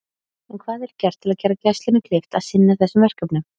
En hvað er gert til að gera Gæslunni kleift að sinna þessum verkefnum?